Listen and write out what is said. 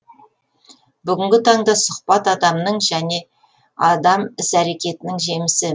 бүгінгі таңда сұхбат адамның және адам іс әрекетінің жемісі